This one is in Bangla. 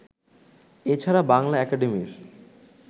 এছাড়া বাংলা একাডেমির